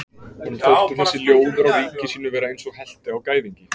Honum þótti þessi ljóður á ríki sínu vera eins og helti á gæðingi.